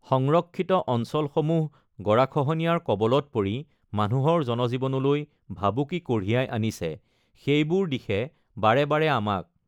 সংৰক্ষিত অঞ্চলসমূহ গৰাখহনীয়াৰ কৱলত পৰি মানুহৰ জনজীৱনলৈ ভাবুকি কঢ়িয়াই আনিছে সেইবোৰ দিশে বাৰে বাৰে আমাক